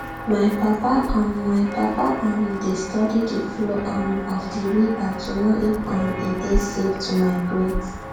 my papa um my papa um dey study the flow um of the river to know if um e dey safe to migrate